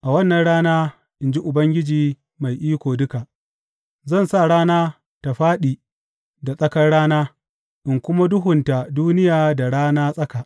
A wannan rana, in ji Ubangiji Mai Iko Duka, Zan sa rana ta fāɗi da tsakar rana in kuma duhunta duniya da rana tsaka.